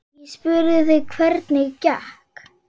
Ég spurði þig hvernig gekk.